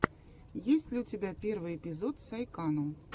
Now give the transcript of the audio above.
есть ли у тебя первый эпизод сайкану